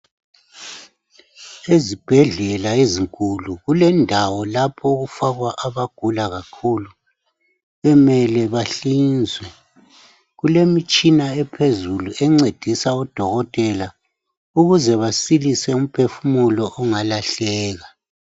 Izibhedlela ezinkulu kulendawo lapho okufakwa abagula kakhulu bemele bahlinzwe. Kule mitshina ephezulu encedisa odokotela ukuze basilise umphefumulo ongalahleka.